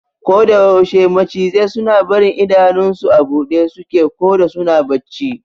Koda yaushe macizai suna barin idanun su a buɗe suke koda suna bacci